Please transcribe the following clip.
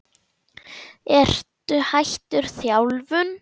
Ertu hættur þjálfun?